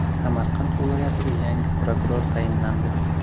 Samarqand viloyatiga yangi prokuror tayinlandi.